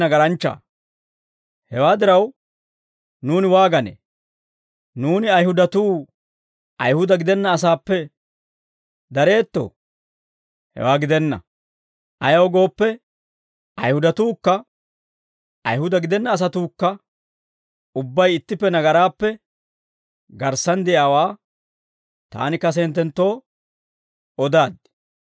Hewaa diraw, nuuni waaganee? Nuuni Ayihudatuu, Ayihuda gidenna asaappe dareettoo? Hewaa gidenna; ayaw gooppe, Ayihudatuukka Ayihuda gidenna asatuukka ubbay ittippe nagaraappe garssan de'iyaawaa taani kase hinttenttoo odaaddi.